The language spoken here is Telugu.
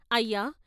' అయ్యా!